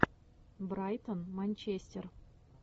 брайтон манчестер